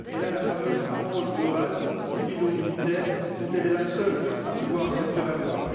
elle a la fameuse approche globale, civilo militaire, dont elle est la seule à pouvoir se prévaloir.